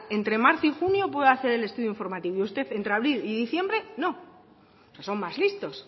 entre marzo y junio puede hacer el estudio informativo y usted entre abril y diciembre no son más listos